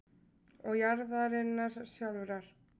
og jarðarinnar sjálfrar.